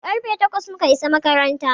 Karfe takwas mu ka isa makaranta.